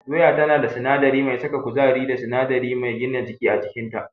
Doya tana da sinadari mai saka kuzari da sinadari mai gina jiki a cikinta.